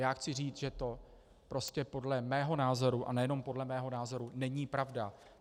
Já chci říct, že to prostě podle mého názoru, a nejen podle mého názoru, není pravda.